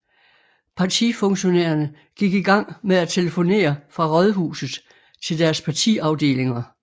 Partifunktionærerne gik i gang med at telefonere fra Rådhuset til deres partiafdelinger